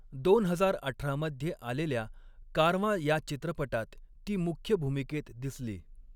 दोन हजार अठरा मध्ये आलेल्या कारवां या चित्रपटात ती मुख्य भूमिकेत दिसली.